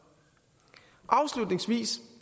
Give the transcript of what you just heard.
afslutningsvis